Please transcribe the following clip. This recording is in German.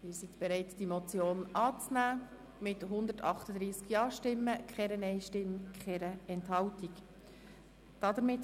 Sie sind bereit, die Motion mit 138 Ja-Stimmen, keiner Nein-Stimme und keiner Enthaltung anzunehmen.